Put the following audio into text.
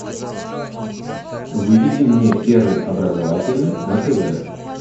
выведи мне первый образовательный на тв